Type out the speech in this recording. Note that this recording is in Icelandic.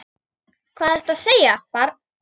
Hvað ertu að segja, barn?